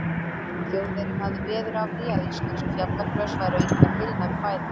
Þjóðverjinn hafði veður af því, að íslensk fjallagrös væru einkar heilnæm fæða.